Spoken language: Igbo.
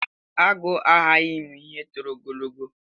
Àgwụ a hahi imu ihe tọrọ ogologo.